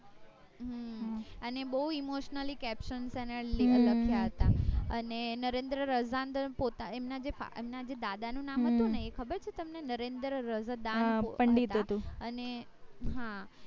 હમ અને બૌ emotionally captions એને લખ્યા હતા અને નરેન્દ્ર એમના એમનાજે દાદા નું નામ હતું ને એ ખબર છે તમને નરેન્દ્ર રઝા હા પંડિત હતું અને હા